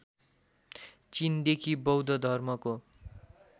चिनदेखि बौद्ध धर्मको